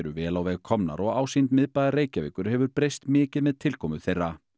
vel á veg komnar og ásýnd miðbæjar Reykjavíkur hefur breyst mikið með tilkomu þeirra